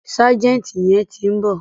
Ságẹ̀ǹtì yẹn ti ń bọ̀.